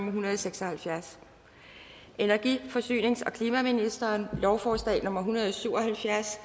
en hundrede og seks og halvfjerds energi forsynings og klimaministeren lovforslag nummer l en hundrede og syv og halvfjerds